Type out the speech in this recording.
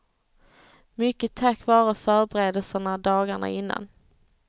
Mycket tack vare förberedelserna dagarna innan.